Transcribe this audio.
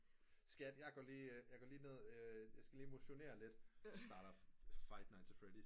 Skat jeg går lige ned jeg skal lige motionere lidt starter five nights at freddy's